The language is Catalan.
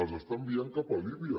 els està enviant cap a líbia